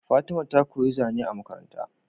Fatima ta koyi zane a Makaranta